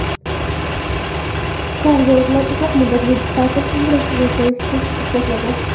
Kardiologlar uzoq muddatli ta’til umrni uzaytirishini isbotladi.